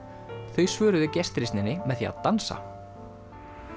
þau svöruðu með því að dansa